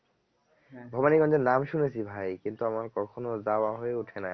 ভবানীগঞ্জ এর নাম শুনেছি ভাই কিন্তু আমার কখনো যাওয়া হয়ে ওঠেনাই আসলে